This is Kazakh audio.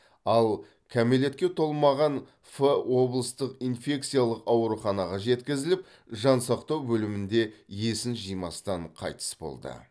ал кәмелетке толмаған ф облыстық инфекциялық ауруханаға жеткізіліп жансақтау бөлімінде есін жимастан қайтыс болды